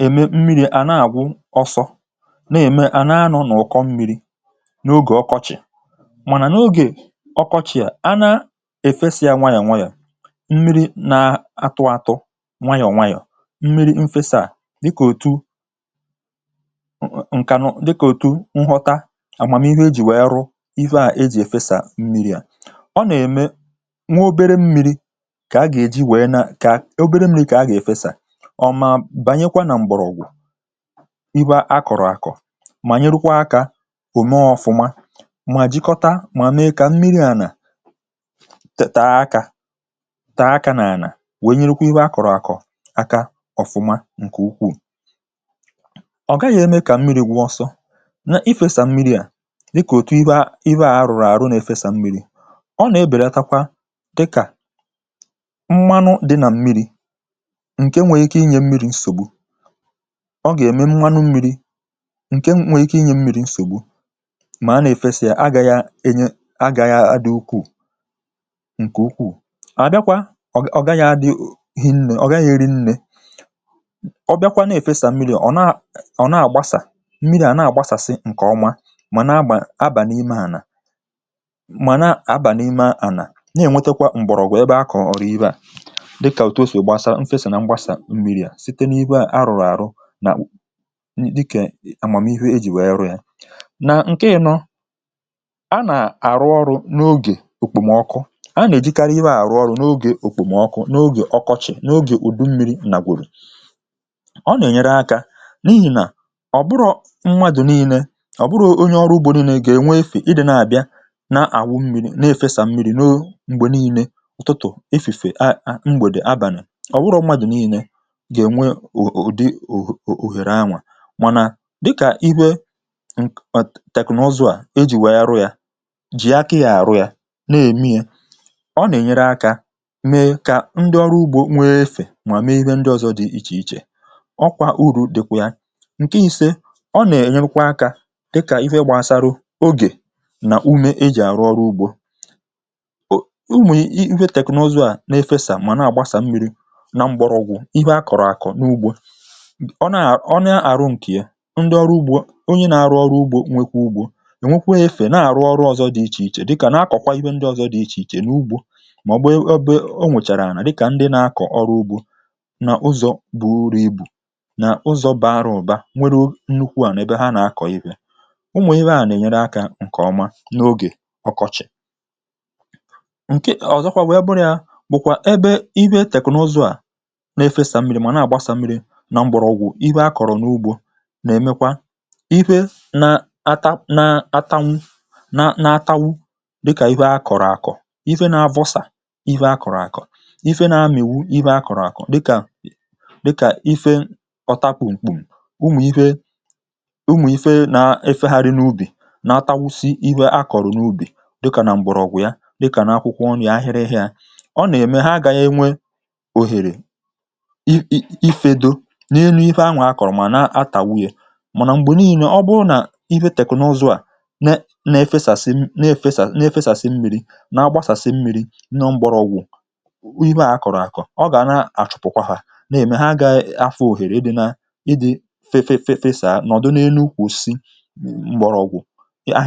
Ịfesa mmirī n’ala ugbo na-enyere mgbọrọgwụ̀ osisi nweta mmirī, nke na-eme ka ha bụrụ ndị dị ndụ ma too nke ọma ọbụna tupu oge mmiri bịarute. Mgbe a na-efesa mmirī nwayọ̀ nwayọ̀ n’elu ala, ọ na-abanye n’ebe